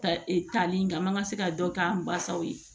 Tali in na an man se ka dɔ k'an basaw ye